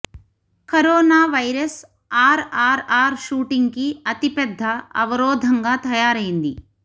corona virus R R R shooting కి అతిపెద్ద అవరోధంగా తయారైంది